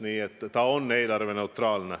Nii et see otsus on eelarveneutraalne.